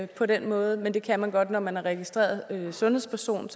på den måde men det kan man godt når man er registreret sundhedsperson